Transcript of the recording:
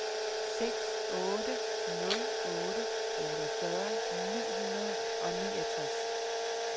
seks otte nul otte otteogfyrre ni hundrede og niogtres